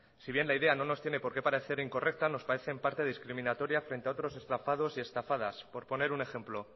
si bien la idea no nos tiene por qué parecer incorrecta nos parece en parte discriminatoria frente a otros estafados y estafadas por poner un ejemplo